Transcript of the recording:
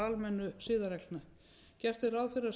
almennu siðareglna gert er ráð fyrir að